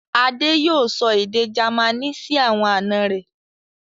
Adé yóò sọ èdè Jamaní sí àwọn àná rẹ̀.